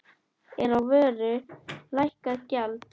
Er á vöru lækkað gjald.